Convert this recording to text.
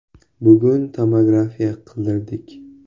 Bugun tomografiya qildirdik.